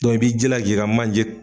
Dɔn i b'i jilaj'i ka manje